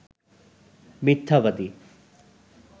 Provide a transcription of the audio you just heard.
মিথ্যাবাদী